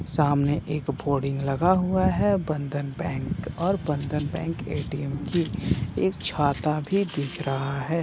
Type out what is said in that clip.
सामने एक फॉर्डिंग लगा हुआ है बंधन बैंक और बंधन बैंक ए.टी.एम. की एक छाता भी दिख रहा है ।